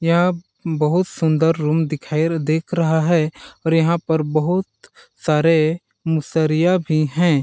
यहाँ बहुत सुंदर रूम दिखाईल दिख रहा है और यहाँ पर बहुत सारे मुसरिया भी है।